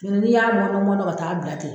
Mɛ n'i y'a mɔtɔn mɔtɔn ka t'a bila ten